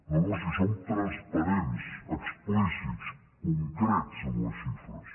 no no si som transparents explícits concrets amb les xifres